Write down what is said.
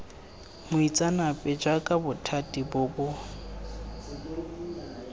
moitseanape jaaka bothati bo bo